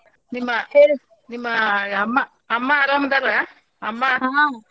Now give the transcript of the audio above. ನಿಮ್ಮ ನಿಮ್ಮ ಅಮ್ಮ ಅಮ್ಮಾ ಆರಾಮ್ ಅದಾರ ಅಮ್ಮ.